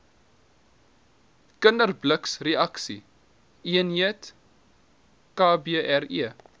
kinderblitsreaksie eenheid kbre